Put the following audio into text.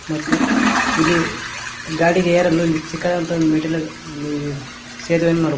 ಮತ್ತು ಇಲ್ಲಿ ಗಾಡಿಗೆ ಎರಲು ಚಿಕ್ಕದಾದಂತ ಮೆಟ್ಟಿಲು ಮೇ ಸೇತುವೆಯನ್ನು ನೋಡಬಹುದು.